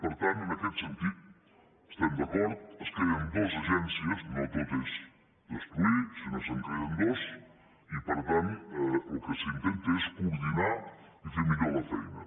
per tant en aquest sentit estem d’acord es creen dues agències no tot és destruir sinó que se’n creen dues i per tant el que s’intenta és coordinar i fer millor la feina